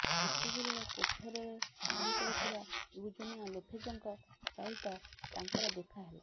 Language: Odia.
ଏତିକିବେଳେ କାଫେରେ କାମ କରୁଥିବା ୟୁଜୋନିଆ ଲୋପେଜ୍ଙ୍କ ସହିତ ତାଙ୍କର ଦେଖା ହେଲା